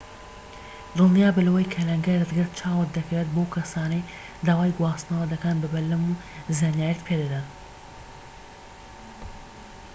دڵنیابە لەوەی کە لەنگەرت گرت چاوت دەکەوێت بەو کەسانەی داوای گواستنەوە دەکەن بە بەلەم و زانیاریت پێدەدەن